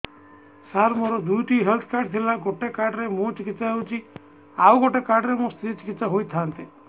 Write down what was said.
ସାର ମୋର ଦୁଇଟି health card ଥିଲା ଗୋଟେ କାର୍ଡ ରେ ମୁଁ ଚିକିତ୍ସା ହେଉଛି ଆଉ ଗୋଟେ କାର୍ଡ ରେ ମୋ ସ୍ତ୍ରୀ ଚିକିତ୍ସା ହୋଇଥାନ୍ତେ